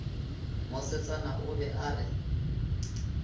mosetsana o be a re